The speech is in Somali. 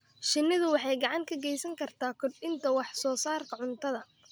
Shinnidu waxay gacan ka geysan kartaa kordhinta wax-soo-saarka cuntada.